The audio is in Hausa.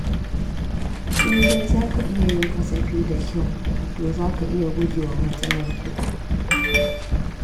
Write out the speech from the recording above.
In dai zaka iya yin kasafi da kyau, to zaka iya gujewa matsalar kudi.